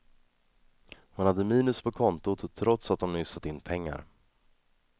Hon hade minus på kontot, trots att hon nyss satt in pengar.